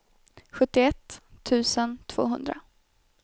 sjuttioett tusen tvåhundra